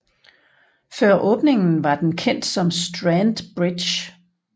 Før åbningen var den kendt som Strand Bridge